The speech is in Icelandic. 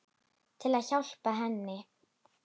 Til að hjálpa henni.